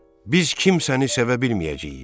Biz kimsəni sevə bilməyəcəyik.